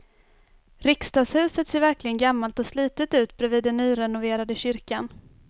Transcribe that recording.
Riksdagshuset ser verkligen gammalt och slitet ut bredvid den nyrenoverade kyrkan.